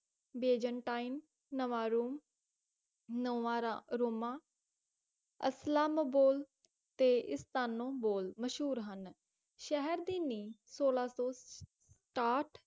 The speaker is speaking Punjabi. ਬੇਜ਼ੰਟਾਇਮ ਨਵਾਰੋਂ ਨਾਵਰੋਮਾ ਅਸ੍ਲਾਮਾਬੁਲ ਤੇ ਇਸਤਾਨੋਬੁਲ ਮਸ਼ਹੂਰ ਹਨ ਸ਼ਹਿਰ ਦੀ ਨੀਹਂ ਸੋਲਾਂ ਸੌ ਸਤਾਹਠ